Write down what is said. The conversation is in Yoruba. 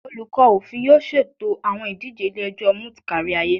Olukọ Ofin yoo ṣeto awọn idije ile-ẹjọ moot kariaye